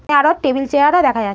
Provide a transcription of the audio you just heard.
এখানে আরও table chair ও দেখা যা--